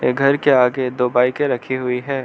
ये घर के आगे दो बाइके रखी हुई है।